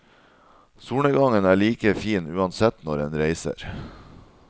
Solnedgangen er like fin uansett når enn reiser.